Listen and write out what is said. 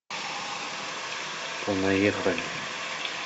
понаехали